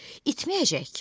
İtməyəcək ki.